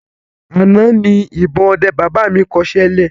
Àná ni ìbọn ọdẹ baba mi kọ iṣẹ́ lẹ̀